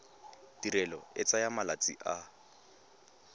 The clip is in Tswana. tirelo e tsaya malatsi a